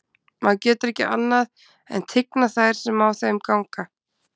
Maður getur ekki annað en tignað þær sem á þeim ganga.